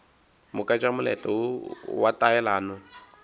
moka tša moletlo wa taelano